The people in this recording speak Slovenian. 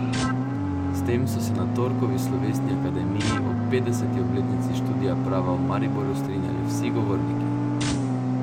S tem so se na torkovi slovesni akademiji ob petdeseti obletnici študija prava v Mariboru strinjali vsi govorniki.